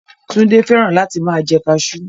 Túndé fẹ́ràn láti máa jẹ kaasú